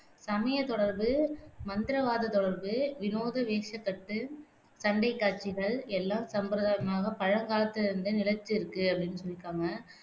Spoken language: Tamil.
சமயத் தொடர்பு, மந்திரவாதத் தொடர்பு, வினோத வேஷக்கட்டு, சண்டைக் காட்சிகள் எல்லாம் சம்பிரதாயமாக பழங்காலத்திலிருந்தே நிலைத்திருக்கு அப்படின்னு சொல்லியிருக்காங்க